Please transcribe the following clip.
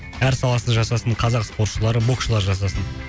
әр саласы жасасын қазақ спортшылары боксшылары жасасын